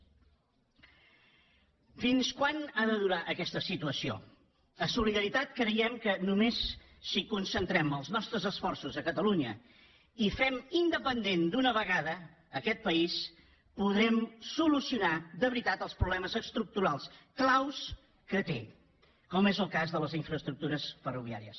fins quan ha de durar aquesta situació a solidaritat creiem que només si concentrem els nostres esforços a catalunya i fem independent d’una vegada aquest país podrem solucionar de veritat els problemes estructurals clau que té com és el cas de les infraestructures ferroviàries